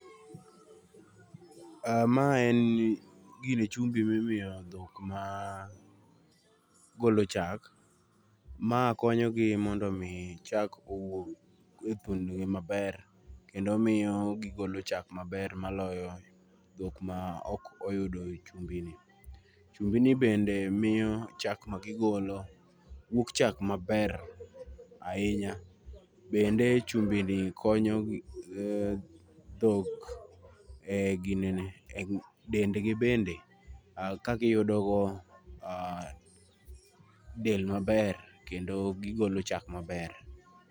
um Ma en chumbi ma imiyo dhok ma golo chak. Ma konyogi mondo omi chak owuog e thundgi maber. Kendo miyo gigolo chak maber maloyo dhok ma ok oyudo chumbi ni. Chumbi ni bende miyo chak ma gigolo wuok chak maber ahinya. Bende chumbi ni konyo dhok e ginene, e dendgi bende, ka giyudogo um del maber, kendo gigolo chak maber.